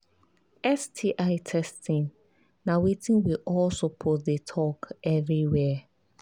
sti testing na watin we all suppose they talk everywhere